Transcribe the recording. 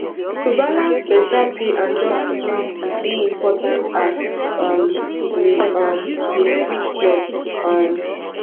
to balance beta pay and job security dey important as um we um dey switch jobs um